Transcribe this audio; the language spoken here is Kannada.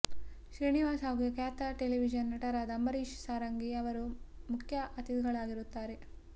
ಶ್ರೀನಿವಾಸ್ ಹಾಗೂ ಖ್ಯಾತ ಟೆಲಿವಿಷನ್ ನಟರಾದ ಅಂಬರೀಷ್ ಸಾರಂಗಿ ಅವರು ಮುಖ್ಯ ಅತಿಥಿಗಳಾಗಿರುತ್ತಾರೆ